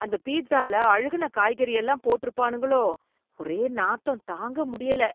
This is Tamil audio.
அந்த பீட்சால அழுகுன காய்கறி எல்லாம் போட்டு இருப்பானுங்களோ, ஒரே நாத்தம் தாங்க முடியல